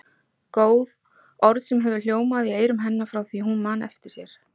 Góð, orð sem hefur hljómað í eyrum hennar frá því hún man eftir sér.